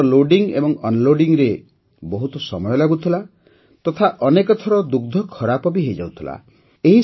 ପ୍ରଥମତଃ ଲୋଡିଂ ଏବଂ Unloadingରେ ବହୁତ ସମୟ ଲାଗୁଥିଲା ତଥା ଅନେକ ଥର ଦୁଗ୍ଧ ଖରାପ ବି ହୋଇଯାଉଥିଲା